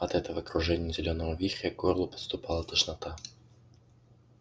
от этого кружения зелёного вихря к горлу подступала тошнота